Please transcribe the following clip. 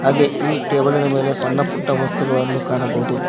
ಹಾಗೆ ಈ ಟೇಬಲಿ ನ ಮೇಲೆ ಸಣ್ಣ ಪುಟ್ಟ ವಸ್ತುಗಳನ್ನು ಕಾಣಬಹುದು.